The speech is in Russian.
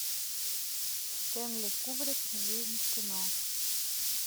стенли кубрик жизнь в кино